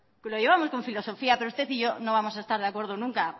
que lo llevamos con filosofía pero usted y yo no vamos a estar de acuerdo nunca